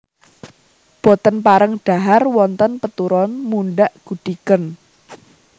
Boten pareng dhahar wonten peturon mundhak gudhigen